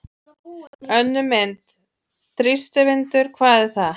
Önnur mynd: Þrýstivindur- hvað er það?